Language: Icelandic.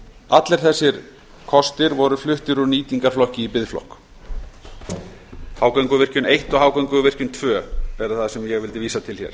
allir þessir kostir voru fluttir úr nýtingarflokki í biðflokk hágönguvirkjun eins og hágönguvirkjun tveggja er það sem ég vildi vísa til